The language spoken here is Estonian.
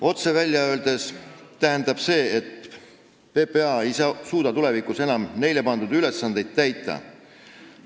Otse välja öeldes tähendab see, et PPA ei suuda tulevikus enam neile pandud ülesandeid täita.